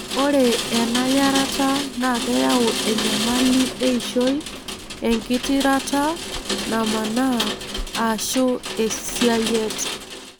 Ore ena yarata na keyau enyamali eishoi, engitirata namaana, ashu esiayiet.